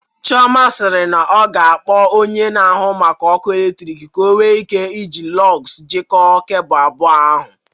Chioma sịrị na ọ ga-akpọ onye na-ahụ maka ọkụ eletrik ka o nwee ike iji Lọgs jikọọ kebụl abụọ ahụ